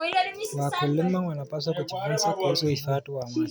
Wakulima wanapaswa kujifunza kuhusu uhifadhi wa maji.